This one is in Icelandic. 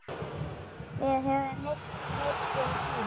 Við höfum misst mikinn tíma.